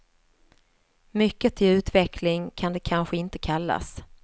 Mycket till utveckling kan det kanske inte kallas.